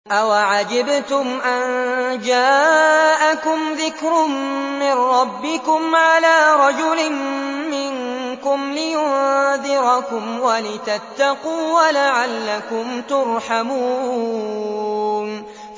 أَوَعَجِبْتُمْ أَن جَاءَكُمْ ذِكْرٌ مِّن رَّبِّكُمْ عَلَىٰ رَجُلٍ مِّنكُمْ لِيُنذِرَكُمْ وَلِتَتَّقُوا وَلَعَلَّكُمْ تُرْحَمُونَ